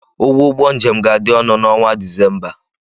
Ụgwọ ụgbọ njem ga-adị ọnụ n'ọnwa Disemba.